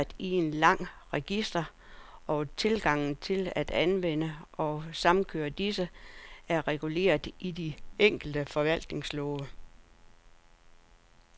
I dag er vi registreret i en lang række registre, og tilgangen til at anvende og samkøre disse, er reguleret i de enkelte forvaltningslove.